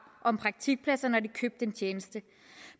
om praktikpladser når de købte en tjeneste